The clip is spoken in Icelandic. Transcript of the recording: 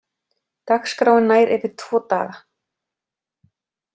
Dagskráin nær yfir tvo daga.